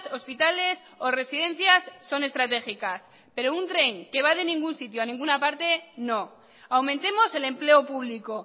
hospitales o residencias son estratégicas pero un tren que va de ningún sitio a ninguna parte no aumentemos el empleo público